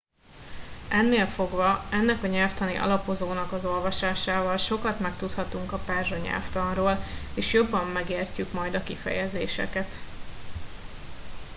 ennél fogva ennek a nyelvtani alapozónak az olvasásával sokat megtudhatunk a perzsa nyelvtanról és jobban megértjük majd a kifejezéseket